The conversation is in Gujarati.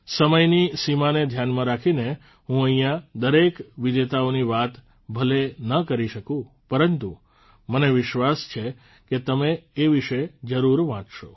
સમયની સીમાને ધ્યાનમાં રાખીને હું અહિંયા દરેક વિજેતાઓની વાતો ભલે ન કરી શકું પરંતુ મને વિશ્વાસ છે કે તમે એ વિષે જરૂર વાંચશો